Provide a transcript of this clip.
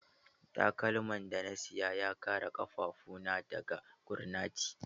Takalman da na saya ya kare ƙafafu na daga gurnati.